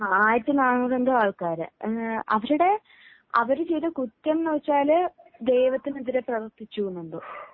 ആയിരത്തി നാനൂറു എന്തോ ആൾക്കാർ അവരുടെ അവർ ചെയ്ത കുറ്റം എന്താണെന്ന് വച്ചാൽ ദൈവത്തിനെതിരെ പ്രവർത്തിച്ചു എന്ന് എന്തോ